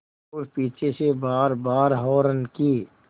और पीछे से बारबार हार्न की